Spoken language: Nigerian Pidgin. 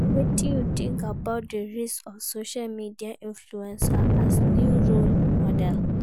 Wetin you think about di rise of social media influcers as new role models?